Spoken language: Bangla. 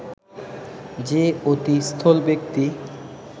যে অতি স্থূল ব্যক্তি